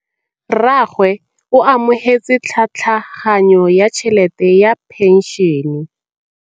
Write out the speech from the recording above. Rragwe o amogetse tlhatlhaganyô ya tšhelête ya phenšene.